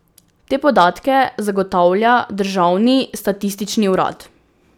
Te podatke zagotavlja državni statistični urad.